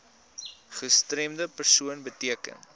gestremde persoon beteken